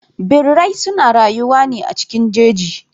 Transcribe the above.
Birrai suna rayuwa ne a cikin jeji.